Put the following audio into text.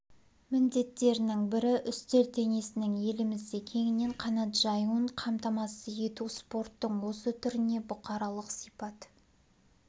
міндеттерінің бірі үстел теннисінің елімізде кеңінен қанат жаюын қамтамасыз ету спорттың осы түріне бұқаралық сипат